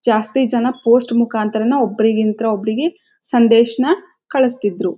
ಜಾಸ್ತಿ ಜನ ಪೋಸ್ಟ್ ಮುಖಾಂತರಾನೇ ಒಬ್ಬರಿ ಗಿಂತ ಒಬ್ಬರಿ ಗೆ ಸಂದೇಶನ ಕಳಿಸುತ್ತಿದ್ದರು.